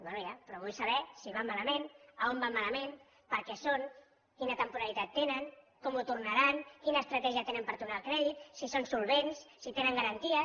bé ja però vull saber si van malament a on van malament per a què són quina temporalitat tenen com ho tornaran quina estratègia tenen per tornar el crèdit si són solvents si tenen garanties